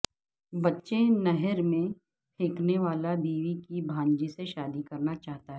بچے نہر میں پھینکنے والا بیوی کی بھانجی سے شادی کرناچاہتا تھا